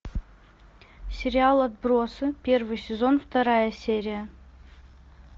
сериал отбросы первый сезон вторая серия